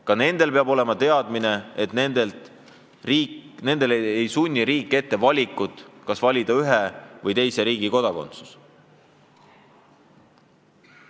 Ka nendel peab olema teadmine, et riik ei sunni neid valima, kas oled ühe või teise riigi kodanik.